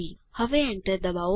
હવે એન્ટર ડબાઓ